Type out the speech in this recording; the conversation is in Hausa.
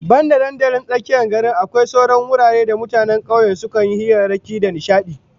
Banda dandalin tsakiyar gari, akwai sauran wuraren da mutanen kauye sukan yi hirarrakin su da nishadi